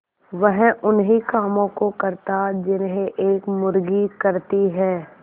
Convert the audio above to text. वह उन्ही कामों को करता जिन्हें एक मुर्गी करती है